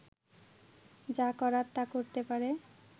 যা করার তা করতে পারে